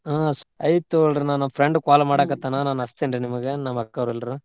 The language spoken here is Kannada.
ಹಾ ಆಯಿತ್ ತೊಗೋಳ್ರಿ ನನ್ friend call ಮಾಡಾಕತ್ತಾನ ನಾನ್ ಹಚ್ತೇನ್ರೀ ನಿಮ್ಗ ನಮ್ಮ್ ಅಕ್ಕೋರ್ ಎಲ್ರು.